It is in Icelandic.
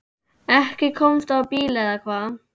Ekki komstu á bíl eða hvað?